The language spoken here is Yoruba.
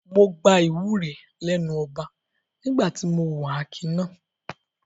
Mo gba ìwúre lẹ́nu ọba nígbà tí mo hùwà akin náà.